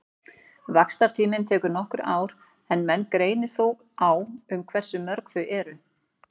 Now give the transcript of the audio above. Vaxtartíminn tekur nokkur ár en menn greinir þó á um hversu mörg þau eru.